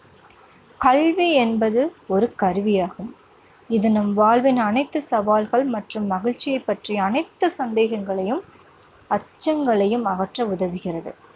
கல்வி என்பது ஒரு கருவியாகும். இது நம் வாழ்வின் அனைத்து சவால்கள் மற்றும் மகிழ்ச்சியைப் பற்றிய அனைத்து சந்தேகங்களையும், அச்சங்களையும் அகற்ற உதவுகிறது.